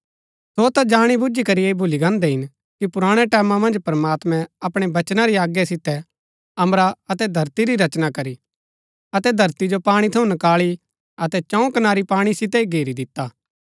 सो ता जाणीबुजी करी ऐह भुली गान्दै हिन कि पुराणै टैमां मन्ज प्रमात्मैं अपणै वचना री आज्ञा सितै अम्बरा अतै धरती री रचना करी अतै धरती जो पाणी थऊँ नकाळी अतै चऊँ कनारी पाणी सितै ही घेरी दिता